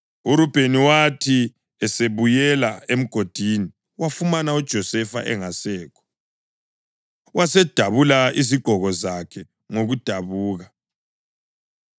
URubheni wathi esebuyela emgodini wafumana uJosefa engasekho, wasedabula izigqoko zakhe ngokudabuka.